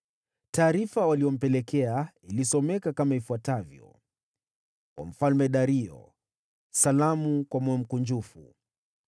Taarifa waliyompelekea ilisomeka kama ifuatavyo: Kwa Mfalme Dario: Salamu kwa moyo mkunjufu.